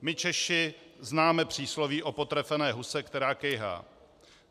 My Češi známe přísloví o potrefené huse, která kejhá.